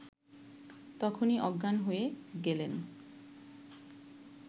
তখনই অজ্ঞান হয়ে গেলেন